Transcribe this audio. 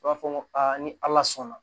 U b'a fɔ ko ni ala sɔnna